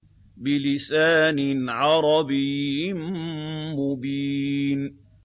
بِلِسَانٍ عَرَبِيٍّ مُّبِينٍ